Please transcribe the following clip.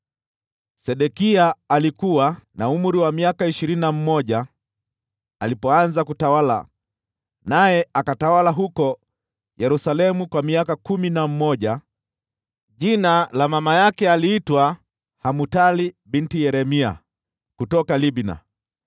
Sedekia alikuwa na umri wa miaka ishirini na mmoja alipoanza kutawala, naye akatawala huko Yerusalemu kwa miaka kumi na mmoja. Jina la mama yake aliitwa Hamutali binti Yeremia, kutoka Libna.